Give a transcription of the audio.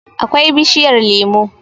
akwai bishiyar lemo